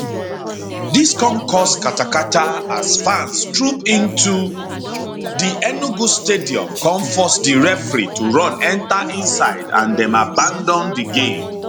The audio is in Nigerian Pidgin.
dis come cause katakata as fans troop into di enugu stadium come force di referee to run enta inside and dem abandon di game